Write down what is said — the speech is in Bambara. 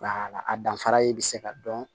Nka a danfara ye bɛ se ka dɔn